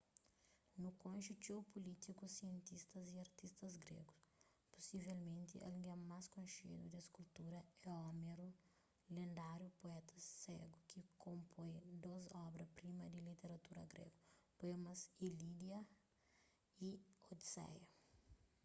nu konxe txeu pulítikus sientistas y artistas grégus pusivelmenti algen más konxedu des kultura é homeru lendáriu puéta ségu ki konpoi dôs obra-prima di literatura gregu poemas ilíada y odiseia